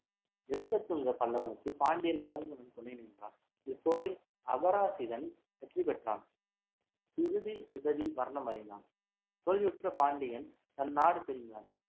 நிருபத்துங்க பல்லவனுக்கு பாண்டியன் வரகுணன் துணை நின்றான் இப்போரில் அபராஜிதன் வெற்றி பெற்றான் பிருதிவிபதி மரணம் அடைந்தான் தோல்வியுற்ற பாண்டியன் தன் நாடு திரும்பினான்